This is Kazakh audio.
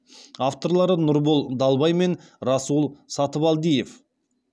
авторлары нұрбол далбай мен расул сатыбалдиев